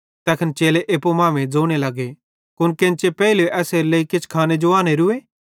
तैखन चेले एप्पू मांमेइं ज़ोने लगे कुन केन्चे पेइलू एसेरे लेइ किछ खाने जो आनोरूए